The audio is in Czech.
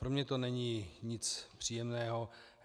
Pro mě to není nic příjemného.